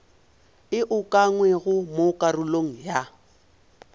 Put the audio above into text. e ukangwego mo karolong ya